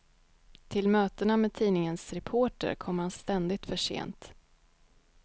Till mötena med tidningens reporter kommer han ständigt för sent.